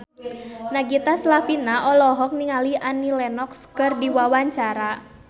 Nagita Slavina olohok ningali Annie Lenox keur diwawancara